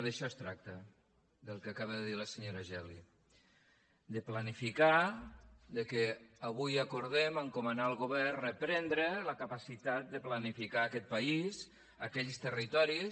d’això es tracta del que acaba de dir la senyora geli de planificar que avui acordem encomanar al govern reprendre la capacitat de planificar aquest país aquells territoris